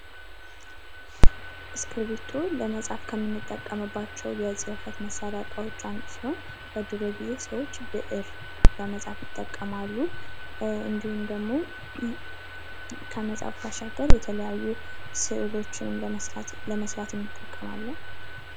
እስክርቢቶ ለመጻፍ ከምንጠቀምባቸው የጽፈት መሳሪያ እቃዎች አንዱ ሲሆን በድሮ ግዜ ሰዎች ብእር ለመጻፍ ይጠቀማሉ እንዲሁም ደግሞ ከመጻፍ አሻገር የተለያዩ ስእሎችን ለመስራት እንጠቀማለን።